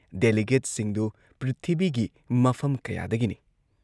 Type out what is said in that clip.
ꯗꯦꯂꯤꯒꯦꯠꯁꯤꯡꯗꯨ ꯄ꯭ꯔꯤꯊꯤꯕꯤꯒꯤ ꯃꯐꯝ ꯀꯌꯥꯗꯒꯤꯅꯤ ꯫